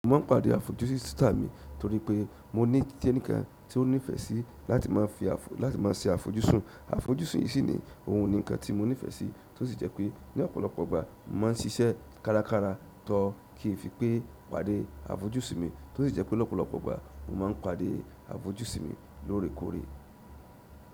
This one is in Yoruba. Mo máa ń pàdé àfojúsùn sitá mi torí pé mo ní kiní kan tí ó nífẹ̀ẹ́ sí láti máa fi láti máa ṣe àfojúsùn. Àfojúsùn yí sì ni ohun kan tí mo nífẹsí tó sì jẹ́ pé ní ọ̀pọ̀lọpọ̀ ọgbà ma ń ṣiṣẹ́ kárakára tó kì í fi pé pàdé àfojúsùn mi, tó sì jẹ́ pé lọ́pọ̀lọpọ̀ ìgbà mo máa ń pàdé àfojúsùn mi lóòrèkóòrè.